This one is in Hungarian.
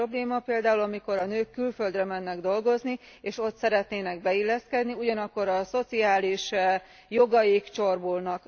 Ilyen probléma például, amikor a nők külföldre mennek dolgozni, és ott szeretnének beilleszkedni, ugyanakkor a szociális jogaik csorbulnak.